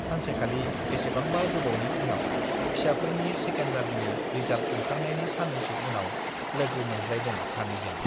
सानसेखालि बेसेबांबा गोबावनि उनाव फिसाफोरनि सेकेन्डारीनि रिजाल्ट ओंखारनायनि सान्नैसो उनाव लोगो मोनज्लायदों सानैजों।